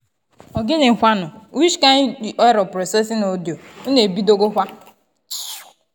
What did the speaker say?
to dey lis ten to patient and you no judge them e dey make everybody understand demsef for demsef for hospital.